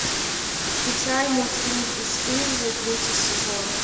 включай мультфильм бесстыжие третий сезон